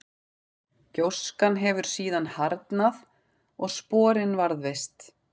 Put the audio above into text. gjóskan hefur síðan harðnað og sporin varðveist